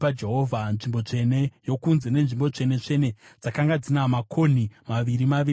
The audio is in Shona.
Nzvimbo tsvene yokunze neNzvimbo Tsvene-tsvene dzakanga dzina makonhi maviri maviri dzose.